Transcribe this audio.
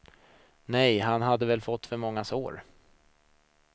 Nej, han hade väl fått för många sår.